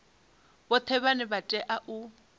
vhoṱhe vhane vha tea u